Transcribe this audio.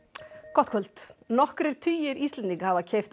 gott kvöld nokkrir tugir Íslendinga hafa keypt